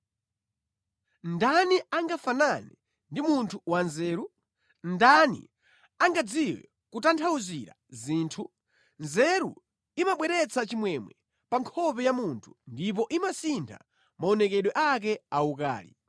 Ndani angafanane ndi munthu wanzeru? Ndani angadziwe kutanthauzira zinthu? Nzeru imabweretsa chimwemwe pa nkhope ya munthu ndipo imasintha maonekedwe ake awukali.